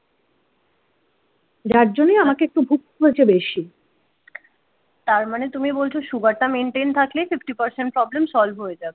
যার জন্যই আমাকে একটু ভুকতে হয়েছে বেশি তারমানে তুমি বলছো সুগারটা মেনটেন থাকলে ফিফটি পরসেন্ট প্রবলেম সল্ভ হয়ে যাবে।